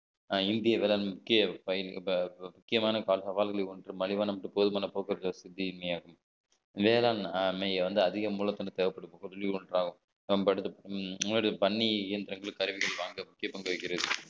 இந்திய வேளாண்மைக்கு முக்கிய~ முக்கியமான கால சவால்களில் ஒன்று மலிவான மற்றும் போதுமான போக்குவரத்து வசதி இன்மையாகும் வேளாண்மை வந்து அதிக மூலத்தொண்டு தேவைப்படுது ஒன்றாக ஒன்றாகும் நம்ம எடுத்து முன்னாடி பண்ணி இயந்திரங்கள் கருவிகள் வாங்க முக்கிய பங்களிக்கிறது